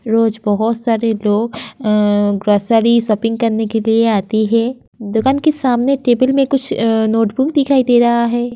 रोज बोहोत सारे लोग अं ग्रॉसरी शॉपिंग करने के लिए आती हे । दुकान की सामने टेबल में कुछ अं नोटबुक दिखाई दे रहा है।